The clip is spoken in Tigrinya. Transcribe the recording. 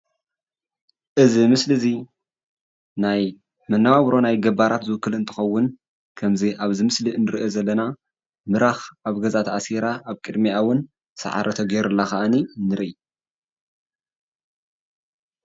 እዚ ምስሊ እዚ ናይ መነባብሮ ናይ ገባራት ዝውክል እንትከውን ከምዚ ኣብዚ ምስሊ እንሪኦ ዘለና ምራኽ ኣብ ገዛ ተኣሲራ ኣብ ቅድሚኣ እውን ሳዕሪ ተገይሩላ ከዓኒ ንረኢ፡፡